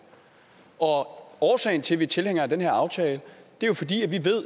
og årsagen til at vi er tilhængere af den her aftale